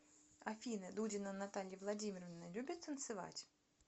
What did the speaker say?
афина дудина наталья владимировна любит танцевать